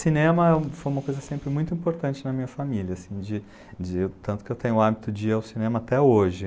Cinema foi uma coisa sempre muito importante na minha família, assim de, de, tanto que eu tenho o hábito de ir ao cinema até hoje.